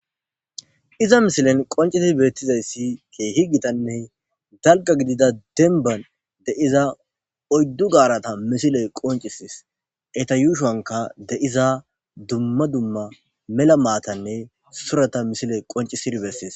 Iza missilen qonccidi bettizayssi kehi giittanne daalgga giiddida dembban deiiza oyddu gawarata missiley qonccises eetta yuushonkka deiiza dumma dumma mella maatanne suurata missiley qonccisidi besess.